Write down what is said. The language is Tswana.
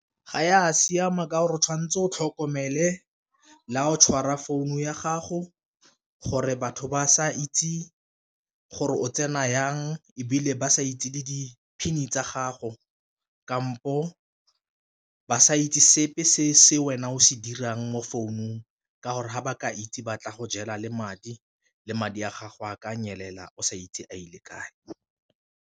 Ga ya siama ka gore o tshwanetse o tlhokomele la o tshwara founu ya gago, gore batho ba sa itse gore o tsena jang ebile ba sa itse le di-PIN tsa gago, kampo ba sa itse sepe se se wena o se dirang mo founung ka gore ga ba ka itse ba tla go jela le madi le madi a gago a ka nyelela o sa itse a ile kae.